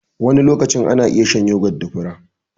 Wani lokacin ana iya shan yogot da fura.